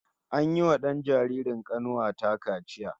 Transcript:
An yiwa dan jaririn kanuwa ta kaciya